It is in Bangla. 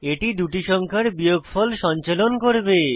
এটি দুটি সংখ্যার বিয়োগফল সঞ্চালন করবে